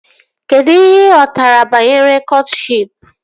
Kedụ ihe ị ghọtara banyere kọtshịp?